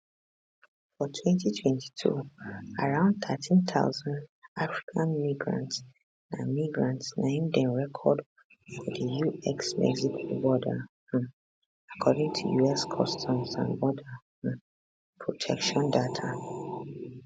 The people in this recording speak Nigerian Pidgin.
for 2022 around 13000 african migrants na migrants na im dem record for di usmexico border um according to us customs and border um protection data